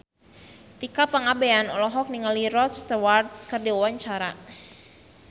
Tika Pangabean olohok ningali Rod Stewart keur diwawancara